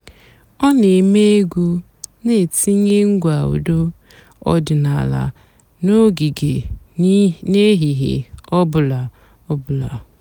ọ́ nà-èmèé ègwú nà-ètínyé ǹgwá ụ́dọ́ ọ̀dị́náàlà n'ògíge n'èhìhè ọ̀ bụ́là. bụ́là.